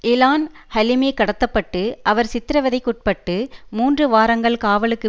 Elon Halimi கடத்த பட்டு அவர் சித்திரவதைக்குட்பட்டு மூன்று வாரங்கள் காவலுக்கு